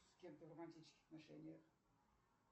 с кем ты в романтических отношениях